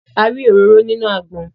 A rí òróró nínú àgbọn